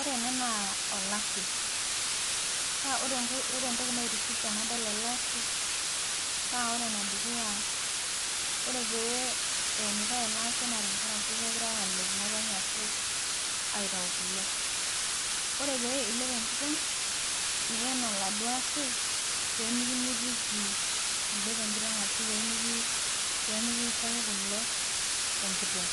Ore ena naa olashe, ore entoki naitiship tenadol ele Ashe, naa ore ene dukuya, ore pee eenitae ele Ashe, naa kegirae aalep ngotonye ashu aitayu kule. ore pee ilep enkiteng',niyen oladuoo ashe pee mekimitiki kule